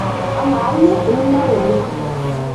amaa iyie imunyak oleng'